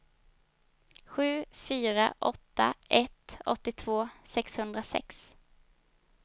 sju fyra åtta ett åttiotvå sexhundrasex